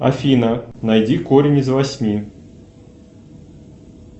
афина найди корень из восьми